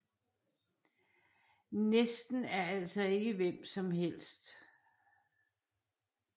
Næsten er altså ikke hvem som helst